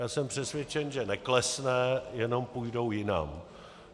Já jsem přesvědčen, že neklesne, jenom půjdou jinam.